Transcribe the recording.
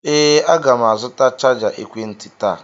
Ee, aga m azụta chaja ekwentị taa.